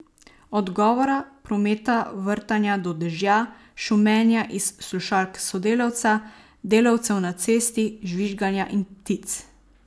Od govora, prometa, vrtanja do dežja, šumenja iz slušalk sodelavca, delavcev na cesti, žvižganja in ptic.